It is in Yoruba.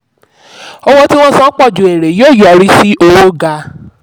owó tí wọ́n san pọ̀ ju èrè yóò yọrí sí owó ga.